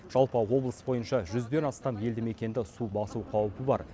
жалпы облыс бойынша жүзден астам елді мекенді су басу қаупі бар